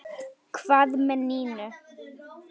Hvað með Nínu?